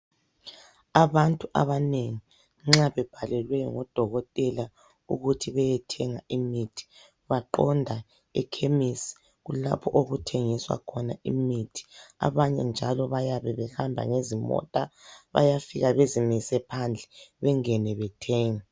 Abantu abanengi nxa bebhalelwe ukuthi beyethenga imithi baqonda ekhemesi kulapho okuthengiswa khona imithi . Abanye njalo bayabe behamba ngezimota bayafika bezimise phandle bengene bethenge.